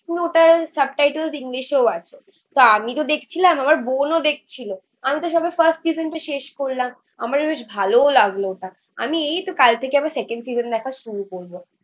পুরোটার subtitle English এও আছে. তো আমি তো দেখছিলাম আমার বোন ও দেখছিল. আমি তো সবে ফার্স্ট সেশন টা শেষ করলাম. আমারও বেশ ভালোও লাগলো ওটা এই তো কাল থেকে আমার সেকেন্ড সেশন দেখা শুরু করবো.